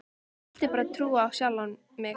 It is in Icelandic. Ég vildi bara trúa á sjálfa mig.